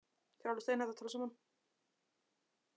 Þið eruð líka alveg steinhætt að tala saman.